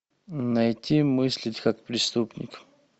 найти мыслить как преступник